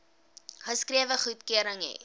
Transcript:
geskrewe goedkeuring hê